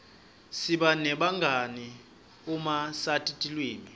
siba nebangani uma sati tilwimi